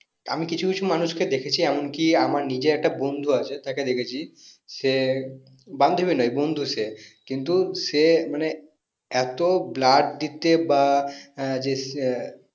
আমি কিছু কিছু মানুষ কে দেখেছি এমনকি আমার নিজের একটা বন্ধু আছে তাকে দেখেছি সে বান্ধবী নোই বন্ধু সে কিন্তু সে মানে এত blood দিতে বা হ্যাঁ যে সে